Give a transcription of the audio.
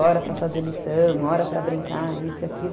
Hora para fazer lição, hora para brincar, isso e aquilo.